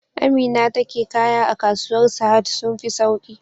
Amina take kaya a kasuwar sahad sun fi sauki